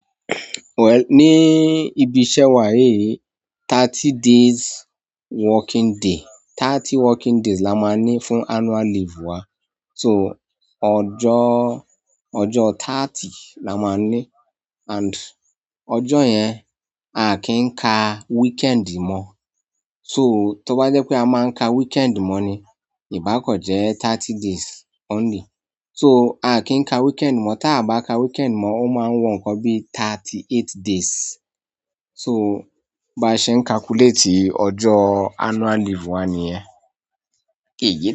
Well, ní ibi iṣẹ́ wa yí, thirty days working day, thirty working days la máa ń ní fún annual leave wa. So, ọjọ́, ọjọ́ thirty la máa ń ní and ọjọ́ yẹn a kì n ka weekend mọ́. So, tọ bá jẹ́ pé a máa ń ka weekend mọ́ ni, ìbá kan jẹ́ thirty days only. So, a kì n ka weekend mọ́, táa bá ka weekend mọ́, ó máa wọ nǹkan bíi thirty-eight days. So, báa ṣe ń calculate ọjọ́ annual leave wa nìyẹn.